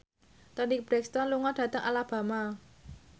Toni Brexton lunga dhateng Alabama